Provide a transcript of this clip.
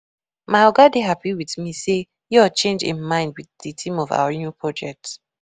My Oga dey happy with me say yo change im mind with the theme of our new project